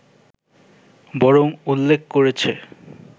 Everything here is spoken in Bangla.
বরং উল্লেখ করেছে